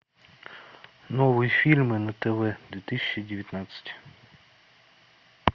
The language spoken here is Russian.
новые фильмы на тв две тысячи девятнадцать